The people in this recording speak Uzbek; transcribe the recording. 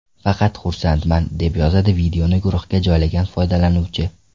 Faqat xursandman!”, deb yozadi videoni guruhga joylagan foydalanuvchi.